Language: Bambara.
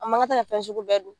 A ma kan tɛ ka fɛn suku bɛɛ dun.